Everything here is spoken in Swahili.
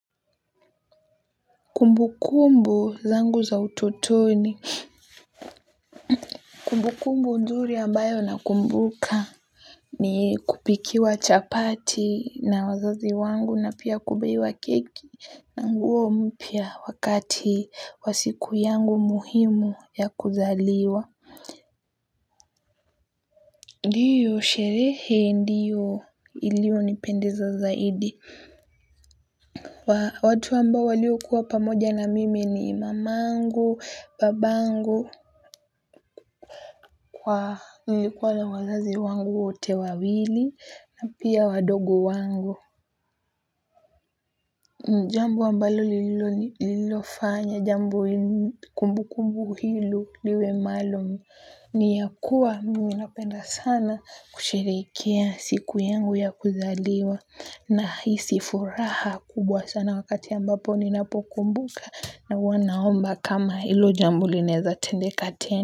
Kumbu kumbu zangu za utotoni. Kumbu kumbu nzuri ambayo na kumbuka ni kupikiwa chapati na wazazi wangu na pia kubuiwa keki na nguo mpya wakati wa siku yangu muhimu ya kuzaliwa. Ndiyo sherehe ndiyo ilio nipendeza zaidi. Watu ambao walio kuwa pamoja na mimi ni mamangu, babangu kwa nilikuwa la wazazi wangu wote wawili na pia wadogo wangu. Ni jambo ambalo lililoni lilofanya, jambo kumbu kumbu hilo liwe maluum. Ni yakuwa mimi napenda sana kusheherekea siku yangu ya kuzaliwa nahisi furaha kubwa sana wakati ambapo ninapokumbuka na huwa. Naomba kama hilo jambo lineza tendeka tena.